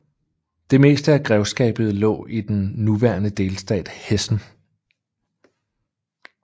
Det meste af grevskabet lå i den nuværende delstat Hessen